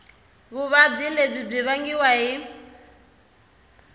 vuvabyi lebyi byi vangiwa hi